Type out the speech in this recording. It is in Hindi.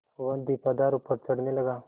वह दीपाधार ऊपर चढ़ने लगा